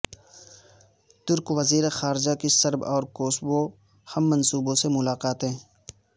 ترک وزیر خارجہ کی سرب اور کوسوو ہم منصبوں سے ملاقاتیں